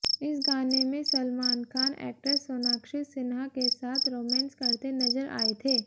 इस गाने में सलमान खान एक्ट्रेस सोनाक्षी सिन्हा के साथ रोमेंस करते नजर आए थे